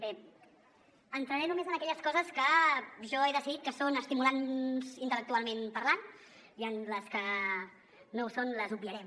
bé entraré només en aquelles coses que jo he decidit que són estimulants intel·lectualment parlant i les que no ho són les obviarem